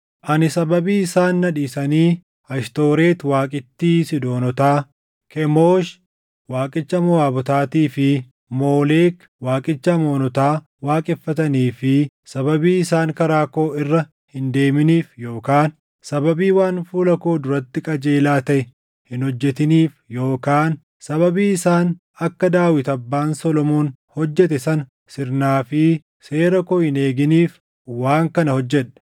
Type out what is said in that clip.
Ani sababii isaan na dhiisanii Ashtooreti waaqittii Siidoonotaa, Kemoosh waaqicha Moʼaabotaatii fi Moolek waaqicha Amoonotaa waaqeffatanii fi sababii isaan karaa koo irra hin deeminiif yookaan sababii waan fuula koo duratti qajeelaa taʼe hin hojjetiniif yookaan sababii isaan akka Daawit abbaan Solomoon hojjete sana sirnaa fi seera koo hin eeginiif waan kana hojjedhe.